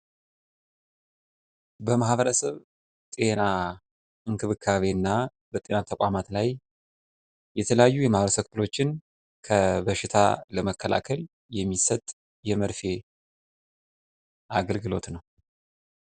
በማህበረሰብ ጤና እንክብካቤ እና በጤና ተቋማት ላይ የተለያዩ የማህበረሰብ ክፍሎችን ከበሽታ ለመከላከል የሚሰጥ የርፌ አገልግሎት ነው።